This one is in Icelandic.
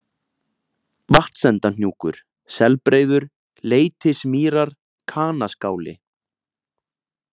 Vatnsendahnjúkur, Selbreiður, Leitismýrar, Kanaskáli